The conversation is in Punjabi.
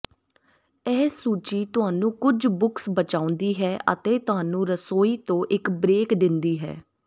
ਇਹ ਸੂਚੀ ਤੁਹਾਨੂੰ ਕੁਝ ਬੁਕਸ ਬਚਾਉਂਦੀ ਹੈ ਅਤੇ ਤੁਹਾਨੂੰ ਰਸੋਈ ਤੋਂ ਇੱਕ ਬ੍ਰੇਕ ਦਿੰਦੀ ਹੈ